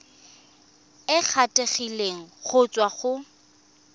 e kgethegileng go tswa go